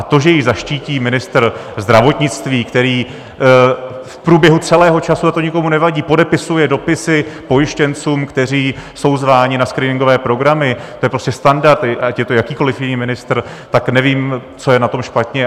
A to, že ji zaštítí ministr zdravotnictví, který v průběhu celého času, a to nikomu nevadí, podepisuje dopisy pojištěncům, kteří jsou zváni na screeningové programy, to je prostě standard, ať je to jakýkoli jiný ministr, tak nevím, co je na tom špatně.